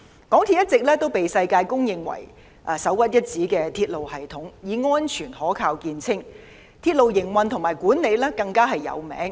港鐵一直被世界公認為首屈一指的鐵路系統，以安全可靠見稱，而港鐵公司的鐵路營運及管理更是知名。